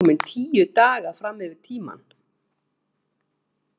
Hún er komin TÍU DAGA fram yfir tímann.